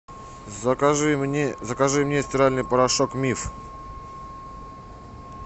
закажи мне стиральный порошок миф